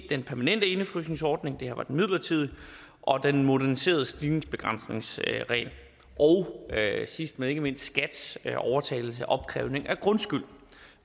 den permanente indefrysningsordning det her var den midlertidige og den moderniserede stigningsbegrænsningsregel og sidst men ikke mindst skats overtagelse af opkrævning af grundskyld